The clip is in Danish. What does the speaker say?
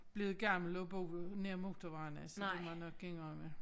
Blevet gammel og boet nær motorvejen altså det må jeg nok indrømme